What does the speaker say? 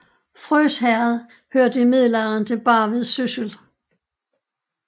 Frøs Herred hørte i middelalderen til Barvid Syssel